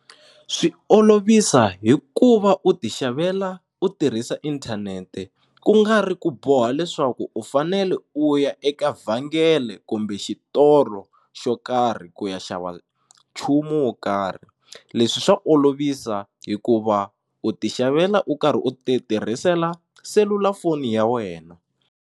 Swi olovisa hi ku va u ti xavela u tirhisa inthanete ku nga ri ku boha leswaku u fanele u ya eka vhengele kumbe xitolo xo karhi ku ya xava nchumu wo karhi leswi swa olovisa hikuva u ti xavela u karhi u ti tirhisela selulafoni ya wena.